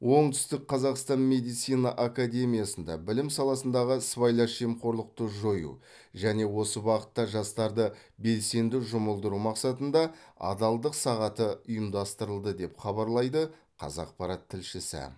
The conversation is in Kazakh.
оңтүстік қазақстан медицина академиясында білім саласындағы сыбайлас жемқорлықты жою және осы бағытта жастарды белсенді жұмылдыру мақсатында адалдық сағаты ұйымдастырылды деп хабарлайды қазақпарат тілшісі